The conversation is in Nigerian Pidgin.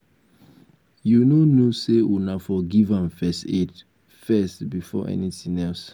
you no know say una for give am first aid first before anything else.